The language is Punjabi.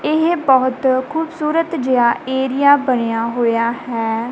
ਇਹ ਬਹੁਤ ਖੂਬਸੂਰਤ ਜਿਹਾ ਏਰੀਆ ਬਣਿਆ ਹੋਇਆ ਹੈ।